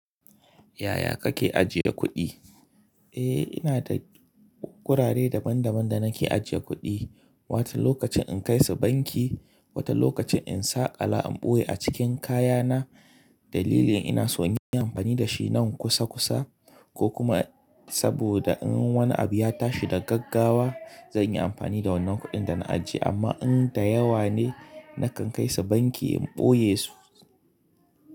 Yaya kake ajiye kuɗi? Eh ina da gurare daban daban da nake ajiye kuɗi, wata lokacin in kai su banki, wata lokacin in sa kala in ɓoye a cikin kaya na dalilin ina son in yi amfani da shi nan kusa kusa ko kuma saboda in wani abu ya tashi da gaggawa zan yi amfani da wannan kuɗin da na ajiye amma in da yawa ne nakan kai su banki in ɓoye su.